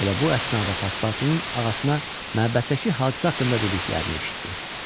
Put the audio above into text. Elə bu əsnada Paspartunun ağasına məbəddəki hadisə haqqında dediklərini eşitdi.